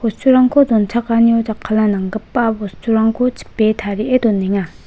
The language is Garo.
donchakanio jakkalna nanggipa bosturangko chipe tarie donenga.